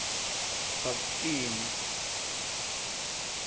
bhaptini